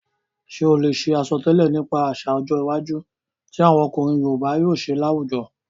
Ṣé o lè ṣe àsọtẹ́lẹ̀ nípa àsà ọjọ́ iwájú ti àwọn ọkùnrin yoòbá yóò ṣe láwùjọ?